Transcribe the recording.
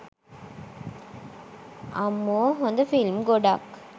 අම්මෝ හොද ෆිල්ම් ගොඩක්